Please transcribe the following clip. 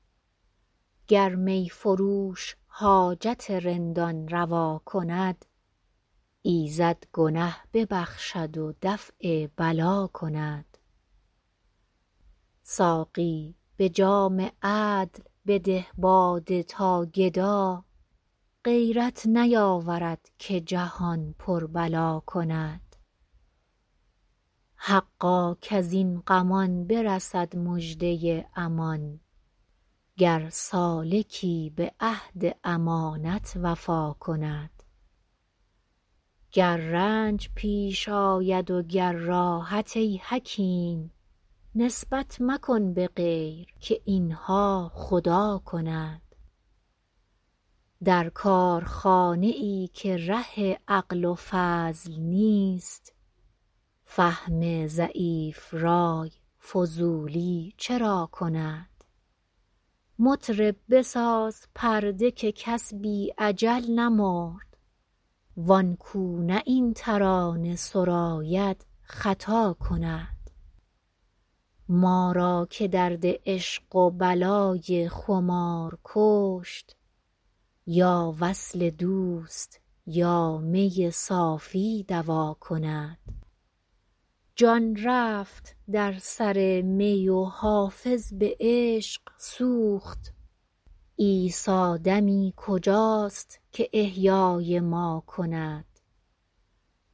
گر می فروش حاجت رندان روا کند ایزد گنه ببخشد و دفع بلا کند ساقی به جام عدل بده باده تا گدا غیرت نیاورد که جهان پر بلا کند حقا کز این غمان برسد مژده امان گر سالکی به عهد امانت وفا کند گر رنج پیش آید و گر راحت ای حکیم نسبت مکن به غیر که این ها خدا کند در کارخانه ای که ره عقل و فضل نیست فهم ضعیف رای فضولی چرا کند مطرب بساز پرده که کس بی اجل نمرد وان کو نه این ترانه سراید خطا کند ما را که درد عشق و بلای خمار کشت یا وصل دوست یا می صافی دوا کند جان رفت در سر می و حافظ به عشق سوخت عیسی دمی کجاست که احیای ما کند